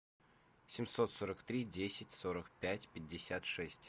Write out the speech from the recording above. семьсот сорок три десять сорок пять пятьдесят шесть